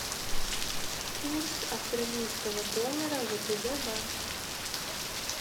курс австралийского доллара втб банк